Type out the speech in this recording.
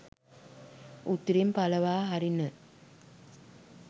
උතුරෙන් පලවා හරින